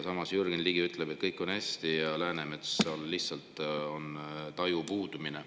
Samas ütleb Jürgen Ligi, et kõik on hästi ja Läänemetsal lihtsalt puudub taju.